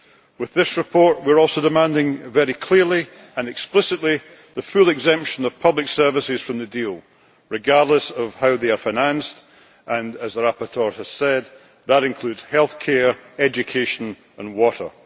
with this report we are also demanding, very clearly and explicitly, the full exemption of public services from the deal, regardless of how they are financed and, as the rapporteur has said, that includes healthcare, education and water.